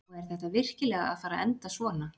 Og er þetta virkilega að fara að enda svona?